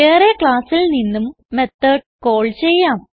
വേറെ ക്ലാസ്സിൽ നിന്നും മെത്തോട് കാൾ ചെയ്യാം